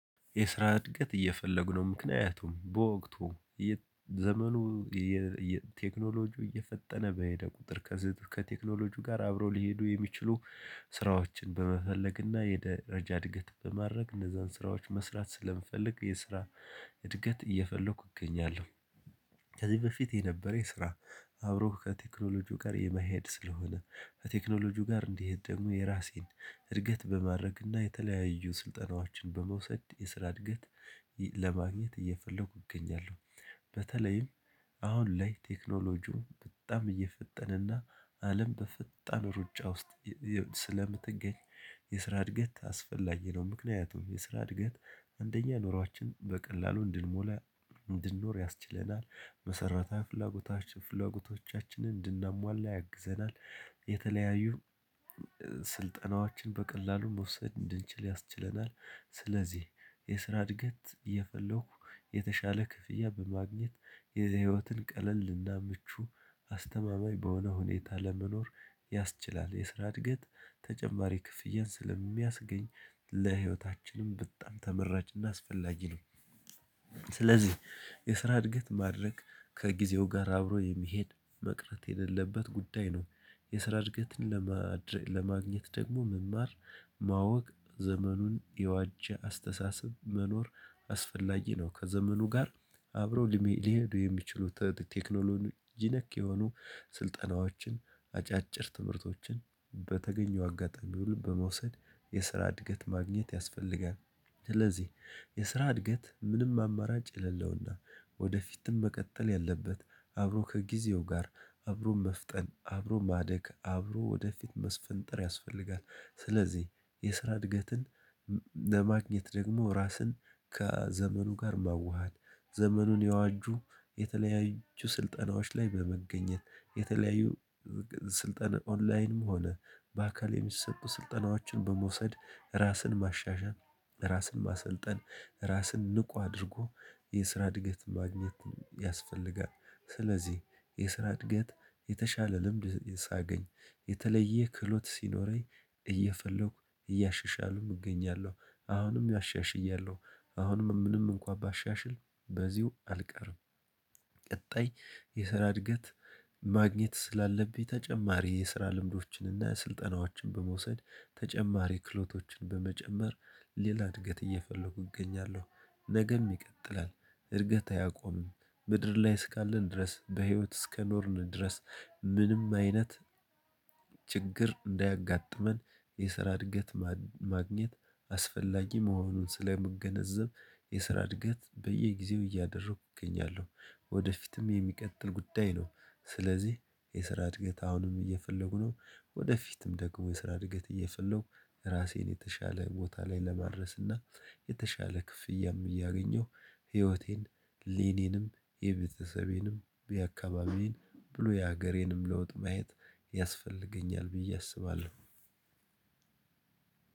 የስራ እድገት እየፈለጉ ነው ምክንያቱም በወቅቱ ዘመኑ ቴክኖሎጂው እየፈጠነ በሄደ ቁጥር ከቴክኖሎጂው ጋር አብረው ሊሄዱ የሚችሉ ስራዎችን በመፈለግና የደረጃ እድገት በማድረግ እነዛን ስራዎች መስራት ስለምፈልግ የስራ እድገት እየፈለኩ እገኛለሁኝ። ከዚህ በፊት የነበረው የስራ አብሮህ ከቴክኖሎጂው ጋር የመሄድ ስለሆነ ከቴክኖሎጂው ጋር እንዲሄድ ደግሞ የራሴን እድገት በማድረግና የተለያዩ ስልጠናዎችን በመውሰድ የስራ እድገት ለማግኘት እየፈለኩ እገኛለሁ። በተለይም አሁን ላይ ቴክኖሎጂው በጣም እየፈጠነና አለም በፈጣን ሩጫ ውስጥ ስለምትገኝ የስራ እድገት አስፈላጊ ነው ምክንያቱም የስራ እድገት አንደኛ ኑሯችን በቀላሉ እንድንሞላ እንድንኖር ያስችለናል መሰረታዊ ፍላጎቶች ፍላጎቶቻችንን እንድናሟላ ያግዘናል። የተለያዩ ስልጠናዎችን በቀላሉ መውሰድ እንድንችል ያስችለናል ስለዚህ የስራ እድገት እየፈለኩ የተሻለ ክፍያ በማግኘት የዚህ ህይወትን ቀለልና ምቹ አስተማማኝ በሆነ ሁኔታ ለመኖር ያስችላል የስራ እድገት ተጨማሪ ክፍያን ስለሚያስገኝ ለህይወታችንም በጣም ተመራጭና አስፈላጊ ነው። ስለዚህ የስራ እድገት ማድረግ ከጊዜው ጋር አብሮ የሚሄድ መቅረት የሌለበት ጉዳይ ነው የስራ እድገትን ለማድረግ ለማግኘት ደግሞ መማር ማወቅ ዘመኑን የዋጀ አስተሳሰብ መኖር አስፈላጊ ነው። ከዘመኑ ጋር አብረው ሊሄዱ የሚችሉት ቴክኖሎጂ ነክ የሆኑ ስልጠናዎችን አጫጭር ትምህርቶችን በተገኘው አጋጣሚ ሁሉ በመውሰድ የስራ እድገት ማግኘት ያስፈልጋል። ስለዚህ የስራ እድገት ምንም አማራጭ የሌለውና ወደፊትም መቀጠል ያለበት አብሮ ከጊዜው ጋር አብሮ መፍጠን አብሮ ማደግ አብሮ ወደፊት መስፈንጠር ያስፈልጋል። ስለዚህ የስራ እድገትን ለማግኘት ደግሞ ራስን ከዘመኑ ጋር መዋሃድ ዘመኑን ያዋጁ የተለያዩ ስልጠናዎች ላይ በመገኘት የተለያዩ ስልጣን ኦንላይንም ሆነ በአካል የሚሰጡ ስልጠናዎችን በመውሰድ ራስን ማሻሻል ራስን ማሰልጠን ራስን ንቁ አድርጎ የስራ እድገት ማግኘትን ያስፈልጋል። ስለዚህ የስራ እድገት የተሻለ ልምድ ሳገኝ የተለየ ክህሎት ሲኖረኝ እየፈለኩ እያሻሻሉም እገኛለው አሁንም ኣሻሽያለው አሁንም ምንም እንኳን ባሻሽል በዚሁ አልቀርም። ቀጣይ የሰራ እድገት ማግኘት ስላለብኝ ተጨማሪ የስራ ልምዶችንና ስልጠናዎችን በመውሰድ ተጨማሪ ክህሎቶችን በመጨመር ሌላ እድገት እየፈለኩ እገኛለሁ ነገም ይቀጥላል። እድገት አያቆምም ምድር ላይ እስካለን ድረስ በህይወት እስከኖርን ድረስ ምንም አይነት ችግር እንዳያጋጥመን የስራ እድገት ማግኘት አስፈላጊ መሆኑን ስለመገነዘብ የስራ እድገት በየጊዜው እያደረኩ እገኛለሁ። ወደፊትም የሚቀጥል ጉዳይ ነው። ስለዚህ የስራ እድገት አሁንም እየፈለጉ ነው ወደፊትም ደግሞ የስራ እድገት እየፈለኩ ራሴን የተሻለ ቦታ ላይ ለማድረስና የተሻለ ክፍያም እያገኘሁ ህይወቴን የኔንም የቤተሰቤንም የአካባቢን ብሎ የሀገሬንም ለውጥ ማየት ያስፈልገኛል ብዬ አስባለው።